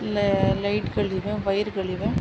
ಇಲ್ಲೇ ಲೈಟ್ ಗಳಿವೆ ವೈರ್ ಗಳಿವೆ.